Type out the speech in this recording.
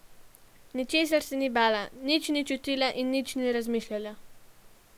Ničesar se ni bala, nič ni čutila in nič ni razmišljala.